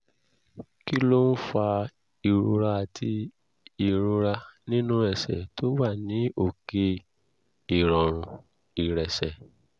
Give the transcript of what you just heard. kí ló ń fa ìrora àti ìrora nínú ẹsẹ̀ tó wà ní òkè ìrọ̀rùn ìrẹsẹ̀?